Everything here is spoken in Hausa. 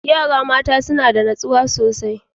Yara mata suna da natsuwa sosai.